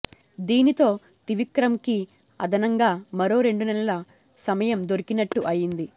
దీనితో త్రివిక్రమ్కి అదనంగా మరో రెండు నెలల సమయం దొరికినట్టు అయింది